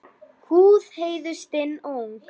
Húð Heiðu stinn og ung.